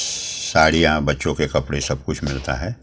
साड़ियां बच्चों के कपड़े सब कुछ मिलता है।